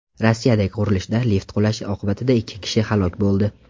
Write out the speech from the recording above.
Rossiyadagi qurilishda lift qulashi oqibatida ikki kishi halok bo‘ldi.